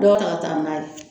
Dɔw ta ka taa n'a ye